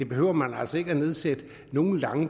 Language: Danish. behøver man altså ikke at nedsætte nogen